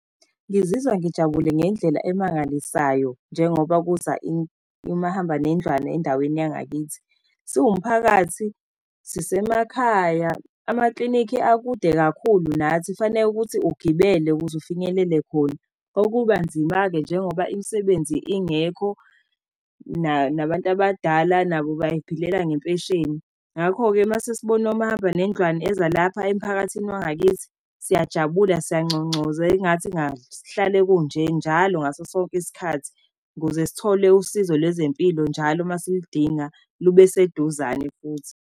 Ngizizwa ngijabule ngendlela emangalisayo njengoba kuza imahamba nendlwane endaweni yangakithi. Siwumphakathi, sisemakhaya. Amaklinikhi akude kakhulu nathi kufaneke ukuthi ugibele ukuze ufinyelele khona. Okubanzima-ke njengoba imisebenzi ingekho nabantu abadala nabo bay'philela ngempesheni. Ngakho-ke uma sesibone omahamba nendlwane eza lapha emphakathini wangakithi, siyajabula, siyangcongcoza engathi sihlale kunje, njalo ngaso sonke isikhathi, ukuze sithole usizo lwezempilo, njalo uma siludinga lube seduzane futhi.